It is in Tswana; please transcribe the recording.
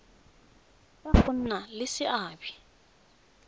ya go nna le seabe